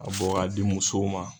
a bɔ k'a di musow ma.